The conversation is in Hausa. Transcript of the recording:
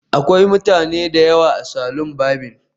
Akwai mutane da yawa a salon barbing